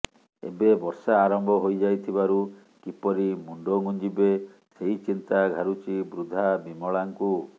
ଏବେ ବର୍ଷା ଆରମ୍ଭ ହୋଇ ଯାଇଥିବାରୁ କିପରି ମୁଣ୍ଡ ଗୁଞ୍ଜିବେ ସେହି ଚିନ୍ତା ଘାରୁଛି ବୃଦ୍ଧା ବିମଳାଙ୍କୁ